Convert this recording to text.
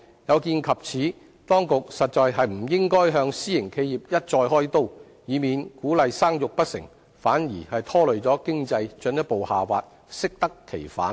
有見及此，當局實在不應該向私營企業一再"開刀"，以免鼓勵生育不成，反而拖累經濟進一步下滑，適得其反。